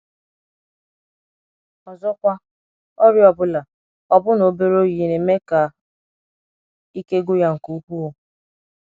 Ọzọkwa, ọrịa ọ bụla — ọbụna obere oyi — na - eme ka ike gwụ ya nke ukwụụ.